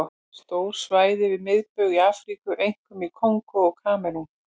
Stór svæði við miðbaug í Afríku, einkum í Kongó og Kamerún.